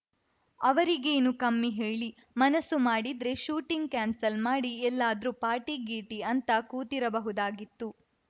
ಅವರಿಗೇನು ಕಮ್ಮಿ ಹೇಳಿ ಮನಸ್ಸು ಮಾಡಿದ್ರೆ ಶೂಟಿಂಗ್‌ ಕ್ಯಾನ್ಸಲ್‌ ಮಾಡಿ ಎಲ್ಲಾದ್ರೂ ಪಾರ್ಟಿ ಗೀರ್ಟಿ ಅಂತ ಕೂತಿರಬಹುದಾಗಿತ್ತು